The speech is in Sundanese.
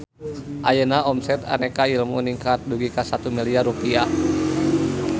Ayeuna omset Aneka Ilmu ningkat dugi ka 1 miliar rupiah